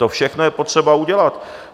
To všechno je potřeba udělat.